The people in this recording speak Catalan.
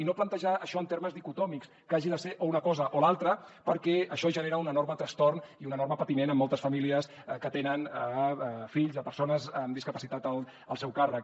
i no plantejar això en termes dicotòmics que hagi de ser o una cosa o l’altra perquè això genera un enorme trastorn i un enorme patiment en moltes famílies que tenen fills persones amb discapacitat al seu càrrec